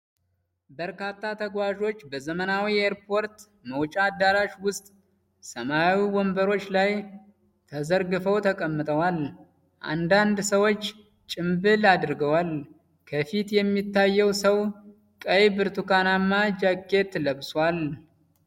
በርካታ ተጓዦች በዘመናዊ የኤርፖርት መውጫ አዳራሽ ውስጥ ሰማያዊ ወንበሮች ላይ ተዘርግፈው ተቀምጠዋል። አንዳንድ ሰዎች ጭምብል አድርገዋል፤ ከፊት የሚታየው ሰው ቀይ ብርቱካንማ ጃኬት ለብሷል።